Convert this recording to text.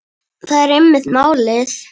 Það er einmitt málið.